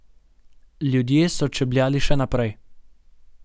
Ljudje so čebljali še naprej.